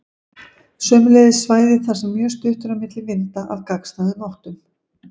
Sömuleiðis svæði þar sem mjög stutt er á milli vinda af gagnstæðum áttum.